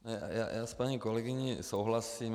Já s paní kolegyní souhlasím.